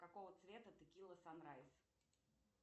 какого цвета текила санрайз